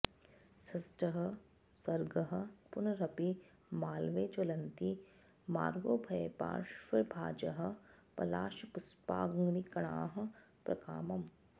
षष्ठः सर्गः पुनरपि माळवे ज्वलन्ति मार्गोभयपार्श्वभाजः पलाशपुष्पाग्निकणाः प्रकामम्